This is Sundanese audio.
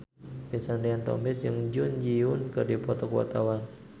Vincent Ryan Rompies jeung Jun Ji Hyun keur dipoto ku wartawan